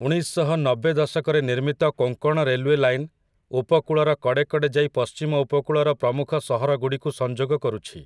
ଉଣେଇଶଶହନବେ ଦଶକରେ ନିର୍ମିତ Konkan railway line, ଉପକୂଳର କଡ଼େକଡ଼େ ଯାଇ ପଶ୍ଚିମ ଉପକୂଳର ପ୍ରମୁଖ ସହରଗୁଡ଼ିକୁ ସଂଯୋଗ କରୁଛି ।